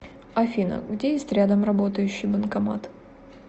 афина где есть рядом работающий банкомат